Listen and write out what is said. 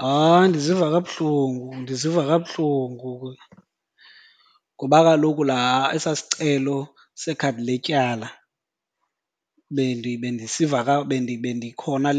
Hayi, ndiziva kabuhlungu, ndiziva kabuhlungu ngoba kaloku laa esaa sicelo sekhadi letyala bendisiva bendikhona